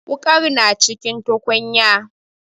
Wuƙar na cikin tukunya.